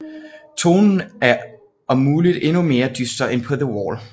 Tonen er om muligt endnu mere dyster end på The Wall